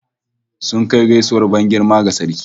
Sun kai gaisuwar ban girma ga sarki